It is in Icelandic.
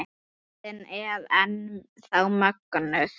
Röddin er enn þá mögnuð.